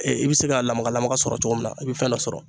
i bi se ka lamaga lamaga sɔrɔ cogo min na i bi fɛn dɔ sɔrɔ.